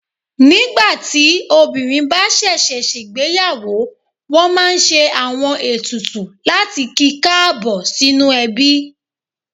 Nígbà tí obìnrin bá ṣẹ̀ṣẹ̀ ṣègbéyàwó, wọ́n máa ń ṣe àwọn etùtù láti kí i káàbọ̀ sínú ẹbí